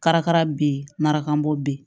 Karakara be yen marakabɔ be yen